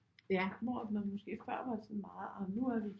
Hvor at man måske før var sådan meget nu er vi